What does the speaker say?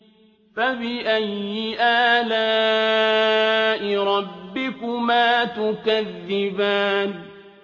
فَبِأَيِّ آلَاءِ رَبِّكُمَا تُكَذِّبَانِ